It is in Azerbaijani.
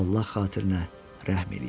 Allah xatirinə rəhm eləyin!